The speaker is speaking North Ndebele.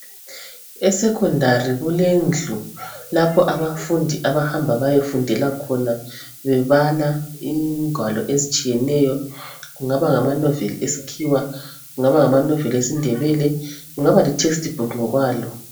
Esekhondari kulendlu lapho abafundi abahamba bayefundela khona bebala ingwalo ezitshiyeneyo, kungaba ngamanoveli eskhiwa, kungaba ngamanoveli esindebele, kungaba lithestibhukhu ngokwalo.